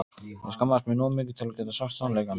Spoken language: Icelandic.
Ég skammaðist mín of mikið til að geta sagt sannleikann.